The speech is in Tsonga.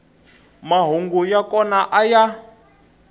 mahungu ya kona a ya